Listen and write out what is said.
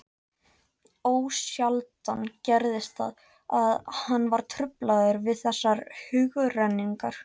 Ósjaldan gerðist það, að hann var truflaður við þessar hugrenningar.